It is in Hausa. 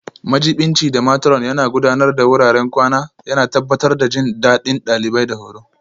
Majiɓinci da Matron Yana Gudanar da wuraren kwana, yana tabbatar da jin daɗin ɗalibai da horo.